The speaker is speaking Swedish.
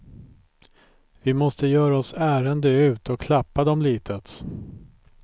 Vi måste göra oss ärende ut och klappa dem litet.